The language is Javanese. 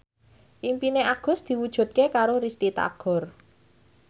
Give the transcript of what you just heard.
impine Agus diwujudke karo Risty Tagor